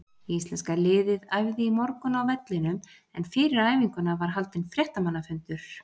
Íslenska liðið æfði í morgun á vellinum en fyrir æfinguna var haldinn fréttamannafundur.